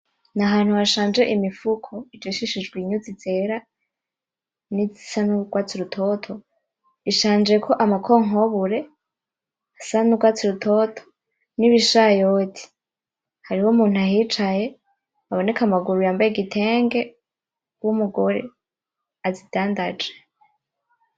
Ni ahantu hashanje imifuko ijishishijwe inyuzi zera nizisa n'urwatsi rutoto ishanjeko amakokonkobore asa n'urwatsi rutoto nibishayote, hariho umuntu ahicaye aboneka amaguru yambaye igitenge w'umugore azidandaje.